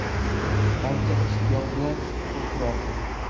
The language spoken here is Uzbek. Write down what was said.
Barcha ishtiyoq bilan kutib turardi.